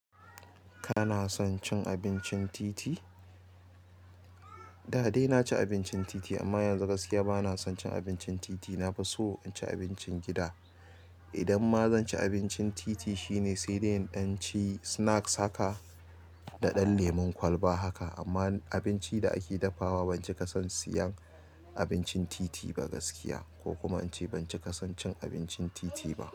Kana son cin abincin titi? Da dai na ci abincin titi amma yanzu gaskiya ba na son cin abincin titi. Na fi son in ci abincin gida idan ma zan ci abincin titi shine sai dai in ɗan ci snacks haka da ɗan lemon kwalba haka. Amma abinci da ake dafawa ban cika son siyan abincin titi ba gaskiya, ko kuma in ce ban cika son cin abincin titi ba.